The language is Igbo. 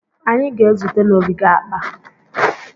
Anyị ga-ezute n'ogige akpa.